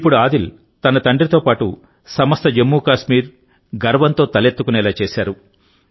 ఇప్పుడు ఆదిల్ తన తండ్రితో పాటు సమస్త జమ్మూకాశ్మీర్ గర్వంతో తలెత్తుకునేలా చేశారు